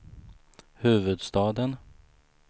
huvudstaden